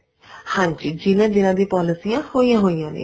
ਹਾਂਜੀ ਜਿਹਨਾ ਜਿਹਨਾ ਦੀਆਂ ਪੋਲੀਸਿਆਂ ਹੋਈਆਂ ਹੋਈਆਂ ਨੇ